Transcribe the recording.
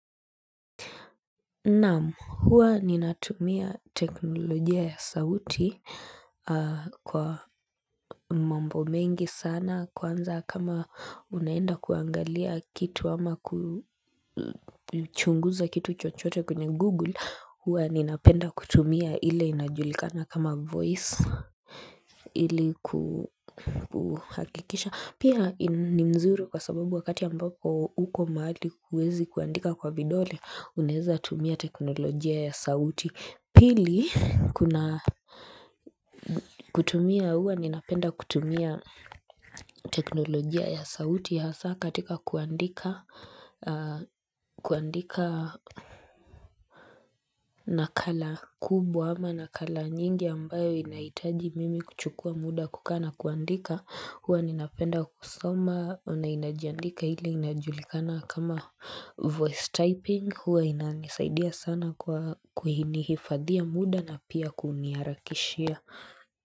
Naam huwa ninatumia teknolojia ya sauti Kwa mambo mengi sana kwanza kama unaenda kuangalia kitu ama kuchunguza kitu chochote kwenye google huwa ninapenda kutumia ile inajulikana kama voice ili kuhakikisha Pia ni mzuri kwa sababu wakati ambapo uko mahali kuwezi kuandika kwa vidole unezatumia teknolojia ya sauti Pili kutumia huwa ninapenda kutumia teknolojia ya sauti hasa katika kuandika nakala kubwa ama nakala nyingi ambayo inaitaji mimi kuchukua muda kukaa na kuandika Huwa ninapenda kusoma na inajandika hili inajulikana kama voice typing Huwa inaanisaidia sana kwa kuhinihifadhia muda na pia kuniharakishia.